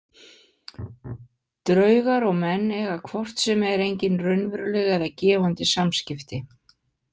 Draugar og menn eiga hvort sem er engin raunveruleg eða gefandi samskipti.